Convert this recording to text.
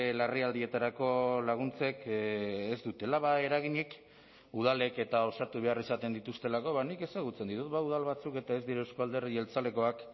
larrialdietarako laguntzek ez dutela eraginik udalek eta osatu behar izaten dituztelako nik ezagutzen ditut udal batzuk eta ez dira euzko alderdi jeltzalekoak